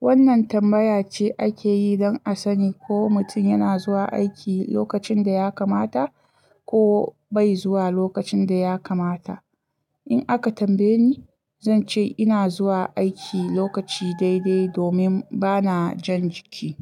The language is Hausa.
Wannan tambaya ce ake yi don a sani ko mutum yana zuwa aiki lokacin da ya kamata ko bai zuwa lokacin da ya kamata. In aka tambaye ni, zan ce ina zuwa aiki lokaci daidai domin bana jan jiki.